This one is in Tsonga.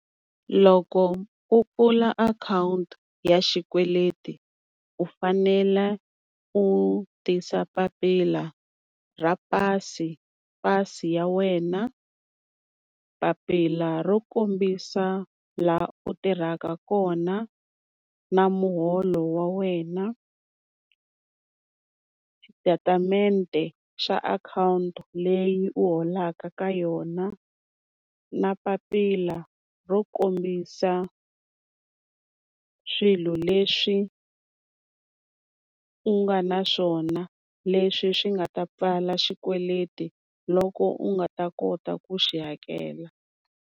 Loko u pfula akhawunti ya xikweleti u fanela u tisa papila ra pasi, pasi ya wena, papila ro kombisa laha u tirhaka kona na muholo wa wena, xitatimende xa akhawunti leyi u holaka ka yona, na papila ro kombisa swilo leswi u nga na swona, leswi swi nga ta pfala xikweleti loko u nga ta kota ku xi hakela.